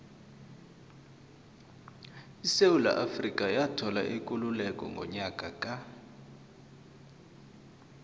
isewula afrika yathola ikululeko ngonyaka ka